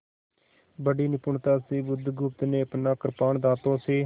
बड़ी निपुणता से बुधगुप्त ने अपना कृपाण दाँतों से